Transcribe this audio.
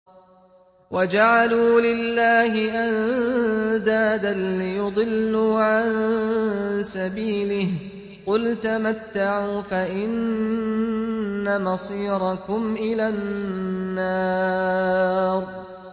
وَجَعَلُوا لِلَّهِ أَندَادًا لِّيُضِلُّوا عَن سَبِيلِهِ ۗ قُلْ تَمَتَّعُوا فَإِنَّ مَصِيرَكُمْ إِلَى النَّارِ